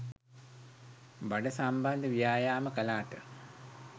බඩ සම්බන්ධ ව්‍යායාම් කලාට